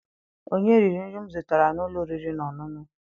Onye riri nri m zụtara n'ụlọ oriri na ọṅụṅụ?